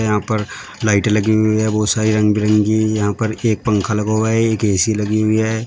यहां पर लाइटे लगी हुई है बहुत सारी रंग बिरंगी यहां पर एक पंखा लगा हुआ है एक ए_सी लगी हुई है।